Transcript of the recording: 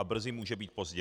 A brzy může být pozdě.